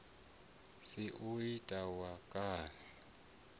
si u ta wa kani